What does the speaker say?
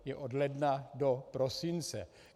Je od ledna do prosince.